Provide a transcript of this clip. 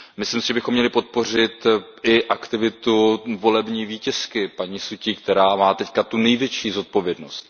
Myslím si, že bychom měli podpořit i aktivitu volební vítězky paní Su Ťij, která má teď tu největší zodpovědnost.